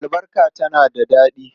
Albarka tana da daɗi.